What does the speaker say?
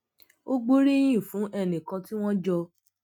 ó gbóríyìn fún ẹnì kan tí wón jọ